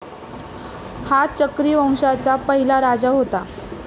हा चक्री वंशाचा पहिला राजा होता.